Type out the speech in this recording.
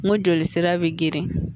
Ngo jolisira be geren